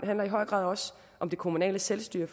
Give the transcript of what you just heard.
handler i høj grad også om det kommunale selvstyre